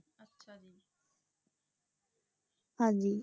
ਹਾਂਜੀ